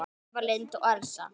Eva Lind og Elsa.